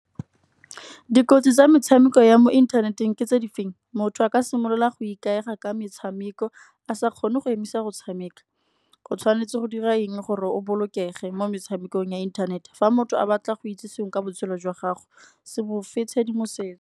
Dikotsi tsa metshameko ya mo inthaneteng ke tse di feng, motho a ka simolola go ikaega ka metshameko a sa kgone go emisa go tshameka. O tshwanetse go dira eng gore o bolokege mo metshamekong ya inthanete, fa motho a batla go itse sengwe ka botshelo jwa gago se mo fe tshedimosetso.